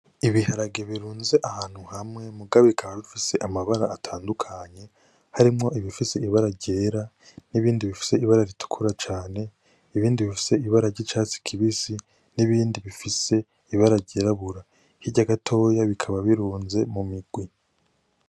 Ibiharage birunze ahantu hamwe muga bikaba bifise amabara atandukanye harimwo ibifise ibara ryera n' ibindi ibifise ibara ritukura cane ibindi bifise ibara ryicatsi kibisi n'ibindi bifise iraba ryirabura hirya gatoya bikaba birunze mu migwi.